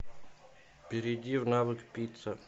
перейди в навык пицца